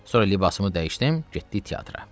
Sonra libasımı dəyişdim, getdik teatra.